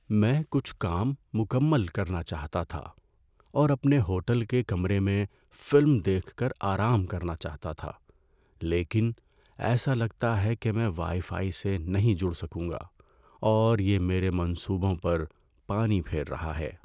میں کچھ کام مکمل کرنا چاہتا تھا اور اپنے ہوٹل کے کمرے میں فلم دیکھ کر آرام کرنا چاہتا تھا، لیکن ایسا لگتا ہے کہ میں وائی فائی سے نہیں جڑ سکوں گا، اور یہ میرے منصوبوں پر پانی پھیر رہا ہے۔